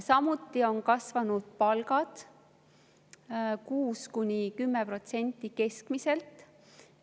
Samuti on kasvanud palgad, 6–10% keskmiselt.